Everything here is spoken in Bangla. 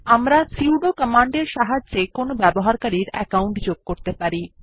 আমরা সুদো কমান্ডের সাহায্যে কোনো ব্যবহারকারীর অ্যাকাউন্ট যোগ করতে পারি